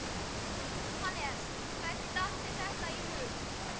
Jóhannes: Hvernig datt þér þetta í hug?